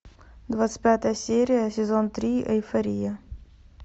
двадцать пятая серия сезон три эйфория